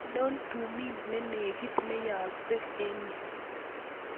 Ainon tumin nenegit neyaaksei en yu